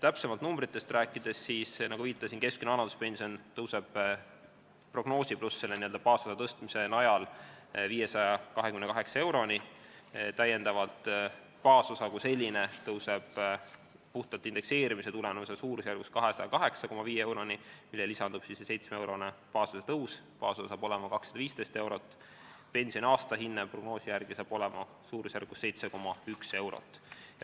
Täpsemalt numbrites rääkides: nagu viitasin, tõuseb keskmine vanaduspension prognoosi pluss n-ö baasosa tõstmise najal 528 euroni, täiendavalt baasosa kui selline tõuseb puhtalt indekseerimise tulemusena 208,5 euroni, millele lisandub 7-eurone baasosa tõus, baasosa saab olema 215 eurot, pensioni aastahinne prognoosi järgi saab olema suurusjärgus 7,1 eurot.